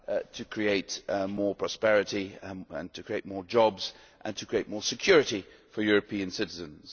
to create more prosperity and to create more jobs and to create more security for European citizens.